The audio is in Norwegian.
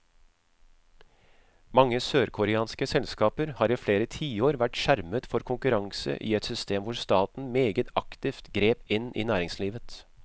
Mange sørkoreanske selskaper har i flere tiår vært skjermet for konkurranse i et system hvor staten meget aktivt grep inn i næringslivet.